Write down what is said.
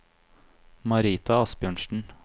Marita Asbjørnsen